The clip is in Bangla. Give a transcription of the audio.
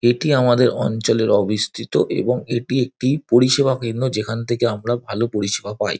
এটি আমাদের অঞ্চলের অবিস্থিত এবং এটি একটি পরিষেবা কেন্দ্র যেখান থেকে আমরা ভালো পরিষেবা পাই।